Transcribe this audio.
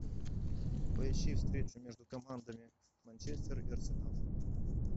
поищи встречу между командами манчестер и арсенал